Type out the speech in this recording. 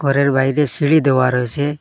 ঘরের বাইরে সিঁড়ি দেওয়া রয়েসে।